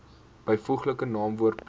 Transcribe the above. byvoeglike naamwoord plus